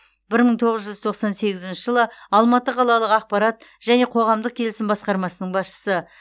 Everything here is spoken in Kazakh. бір мың тоғыз жүз тоқсан сегізінші жылы алматы қалалық ақпарат және қоғамдық келісім басқармасының басшысы